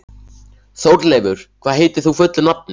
Þórleifur, hvað heitir þú fullu nafni?